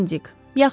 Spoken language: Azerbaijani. Əlizin əzimcik.